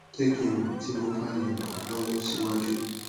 jẹ ki n mọ ti mo ba le ran ọ lọwọ siwaju